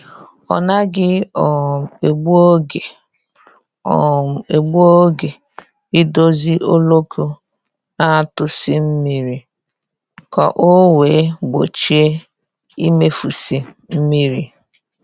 Ọ naghị um egbu oge um egbu oge idozi oloko na-atụsi mmiri ka ọ wee gbochie imefusi mmiri